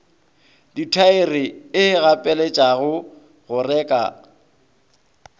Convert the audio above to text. dithaere e gapeletšega go reka